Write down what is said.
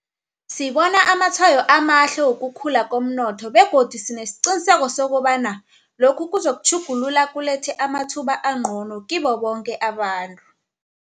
Sibona amatshwayo amahle wokukhula komnotho begodu sinesiqiniseko sokobana lokhu kuzokutjhuguluka kulethe amathuba angcono kibo boke abantu.